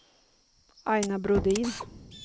Aina Brodin